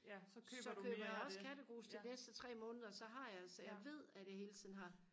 så køber jeg også kattegrus til de næste tre måneder så jeg ved at jeg hele tiden har